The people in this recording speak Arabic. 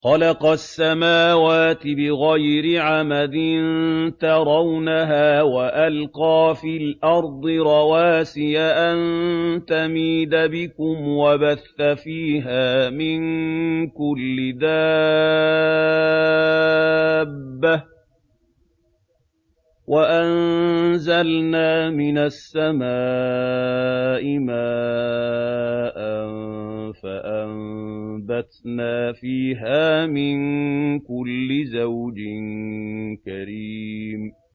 خَلَقَ السَّمَاوَاتِ بِغَيْرِ عَمَدٍ تَرَوْنَهَا ۖ وَأَلْقَىٰ فِي الْأَرْضِ رَوَاسِيَ أَن تَمِيدَ بِكُمْ وَبَثَّ فِيهَا مِن كُلِّ دَابَّةٍ ۚ وَأَنزَلْنَا مِنَ السَّمَاءِ مَاءً فَأَنبَتْنَا فِيهَا مِن كُلِّ زَوْجٍ كَرِيمٍ